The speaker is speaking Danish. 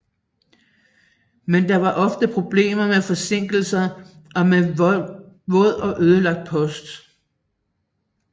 Men der var ofte problemer med forsinkelser og med våd og ødelagt post